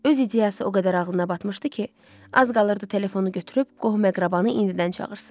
Öz ideyası o qədər ağlına batmışdı ki, az qalırdı telefonu götürüb qohum-əqrabanı indidən çağırsın.